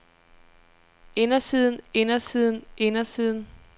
indersiden indersiden indersiden